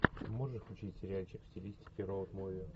можешь включить сериальчик в стилистике роуд муви